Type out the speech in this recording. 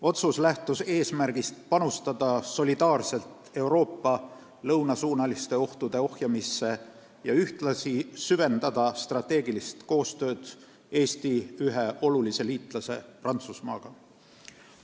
Otsus lähtus eesmärgist panustada solidaarselt Euroopa lõunasuunaliste ohtude ohjamisse ja ühtlasi süvendada strateegilist koostööd Eesti ühe olulise liitlase Prantsusmaaga.